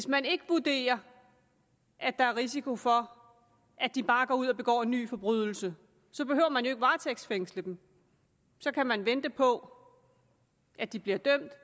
man ikke vurderer at der er risiko for at de bare går ud og begår nye forbrydelser så behøver man jo ikke at varetægtsfængsle dem så kan man vente på at de bliver dømt